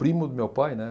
Primo do meu pai, né?